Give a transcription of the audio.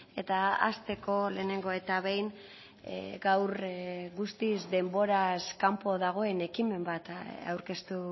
eta hasteko lehenengo eta behin gaur guztiz denboraz kanpo dagoen ekimen bat aurkeztu